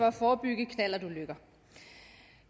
at forebygge knallertulykker